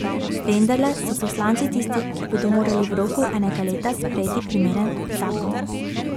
Vendarle so poslanci tisti, ki bodo morali v roku enega leta sprejeti primeren zakon.